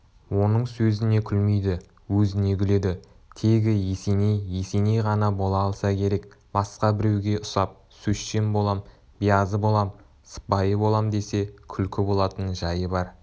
оның сөзіне күлмейді өзіне күледі тегі есеней есеней ғана бола алса керек басқа біреуге ұсап сөзшең болам биязы болам сыпайы болам десе күлкі болатын жайы бар